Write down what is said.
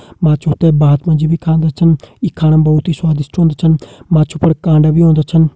माछु त भात मा जी खांदा छन इ खाणो मा बहोत स्वादिश्ट होंदा छन माछु पर कांडा भी होंदा छन।